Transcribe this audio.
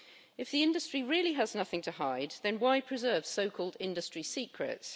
If the industry really has nothing to hide, then why preserve so called industry secrets?